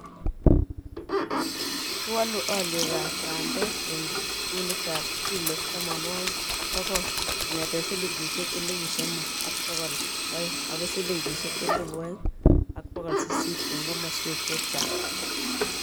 kiwoolu olyekab bandek eng kunitab kilo tomonwokik dsokol, kong'ete silingisiek elipu somok ak bokol oeng akoi silingisiek elipu oeng ak bokol sisit eng komoswek chechang